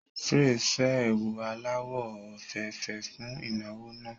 Praise fẹ́ ẹ̀wù aláwọ̀ òféèfé fún ìnáwó yẹn